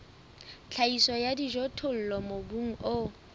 tlhahiso ya dijothollo mobung o